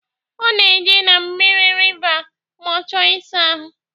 Ọ na-eje na mmiri riva ma ọ chọọ ịsa ahụ